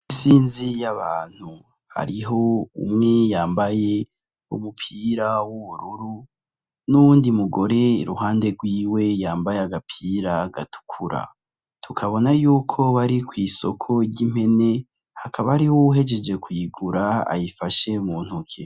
Isinzi y'abantu hariho umwe yambaye umupira w'ubururu n'uwundi mugore iruhande rwiwe yambaye agapira gatukura tukabona yuko bari ku isoko ry'impene hakaba hariho uwuhejeje kuyigura ayifashe mu ntoke